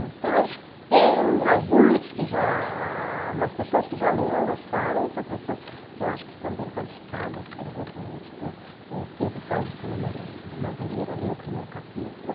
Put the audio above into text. Então, quem alguns, que já ah, algumas pessoas que já leram gostaram, são pessoas que eu acho que são bem qualificadas, por exemplo, o editor Pedro Paulo Sena madu Madureira, o primeiro capítulo.